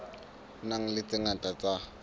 nang le tse ngata tse